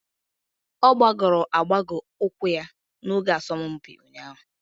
Ọ gbagọrọ agbagọ ụkwụ ya n'oge asọmpi ụnyahụ.